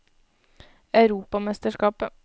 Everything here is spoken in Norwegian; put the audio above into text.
europamesterskapet